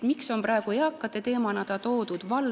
Miks see on praegu eakate teemana siia toodud?